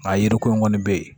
Nka yiri ko in kɔni bɛ yen